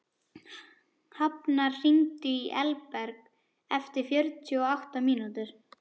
Hafnar, hringdu í Elberg eftir fjörutíu og átta mínútur.